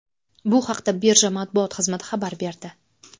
Bu haqda birja matbuot xizmati xabar berdi .